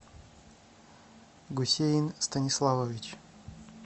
гусейн станиславович